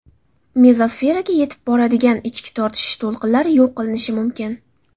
Mezosferaga yetib boradigan ichki tortishish to‘lqinlari yo‘q qilinishi mumkin.